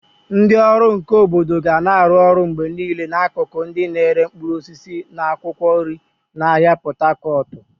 Ndị ọrụ nka obodo ga na-arụ ọrụ mgbe niile n'akụkụ ndị na-ere mkpụrụ osisi na akwụkwọ nri n'ahịa Pot Tarcot.